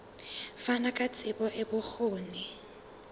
fana ka tsebo le bokgoni